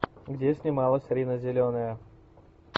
где снималась рина зеленая